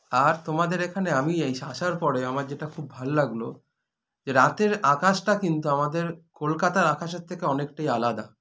আর তোমাদের এখানে আমি এই আসসার পরে আমার যেটা খুব ভাল লাগল যে রাতের আকাশটা কিন্তু আমাদের কলকাতার আকাশের থেকে অনেকটাই আলাদা